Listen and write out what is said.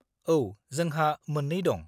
औ, जोंहा मोन्नै दं।